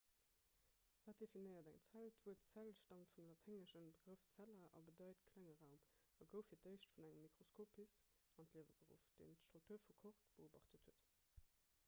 wat definéiert eng zell d'wuert zell staamt vum laténgesche begrëff cella a bedeit klenge raum a gouf fir d'éischt vun engem mikroskopist an d'liewe geruff deen d'struktur vu kork beobacht huet